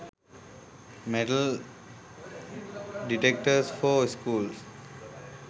metal detectors for schools